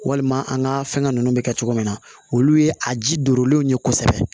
Walima an ka fɛngɛ ninnu bɛ kɛ cogo min na olu ye a ji donlenw ye kosɛbɛ